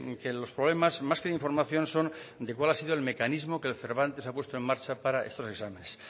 que los problemas más de información son de cuál ha sido el mecanismo que el cervantes ha puesto en marcha para estos exámenes